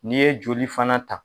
N'i ye joli fana ta